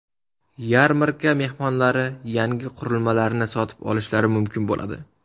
Yarmarka mehmonlari yangi qurilmalarni sotib olishlari mumkin bo‘ladi.